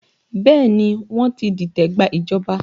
Bẹẹ ni, wọ́n ti dìtẹ̀ gba ìjọba